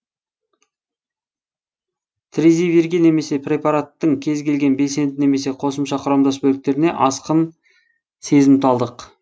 тризивирге немесе препараттың кез келген белсенді немесе қосымша құрамдас бөліктеріне асқын сезімталдық